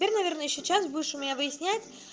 верно верно ещё час будешь у меня выяснять